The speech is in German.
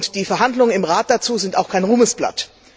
Die Verhandlungen im Rat dazu sind auch kein Ruhmesblatt.